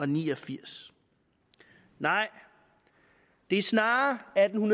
ni og firs nej det er snarere atten